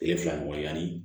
Tile fila ɲɔgɔn yanni